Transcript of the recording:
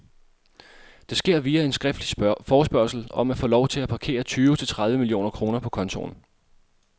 Det sker via en skriftlig forespørgsel om at få lov til at parkere tyve til tredive millioner kroner på kontoen.